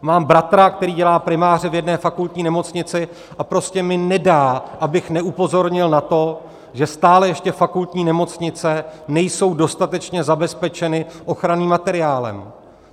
Mám bratra, který dělá primáře v jedné fakultní nemocnici, a prostě mi nedá, abych neupozornil na to, že stále ještě fakultní nemocnice nejsou dostatečně zabezpečeny ochranným materiálem.